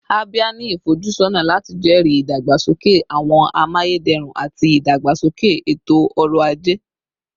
Abia ni ifojusọna lati jẹri idagbasoke awọn amayederun ati idagbasoke eto-ọrọ aje